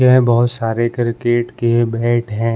यह बहौत सारे क्रिकेट के बैट हैं।